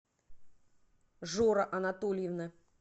жора анатольевна